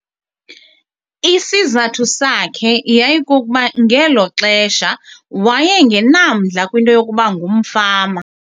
Isizathu sakhe yayikukuba ngelo xesha waye ngenamdla kwinto yokuba ngumfama.